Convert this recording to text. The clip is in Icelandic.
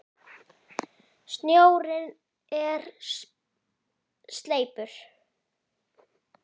Snjórinn er sleipur!